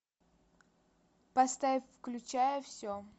поставь включая все